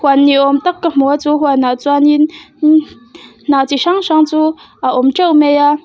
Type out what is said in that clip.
huan ni awm tak ka hmu a chu huan ah chuan in hnah chi hrang hrang chu a awm teuh mai a.